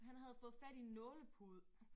Han havde fået fat i nålepude